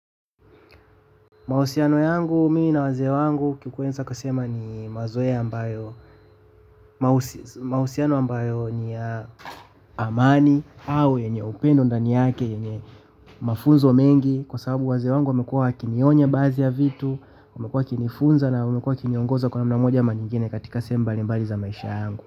Mahusiano yangu mimi na wazee wangu kikuweza kasema ni mazoea ambayo mahusiano ambayo ni ya amani au yenye upendo ndani yake yenye mafunzo mengi kwa sababu wazee wangu wamekuwa wakinionya baadhi ya vitu wamekuwa wakinifunza na wamekuwa wakiniongoza kwa namn amoja ama nyigine katika sehemu mbalimbali za maisha yangu.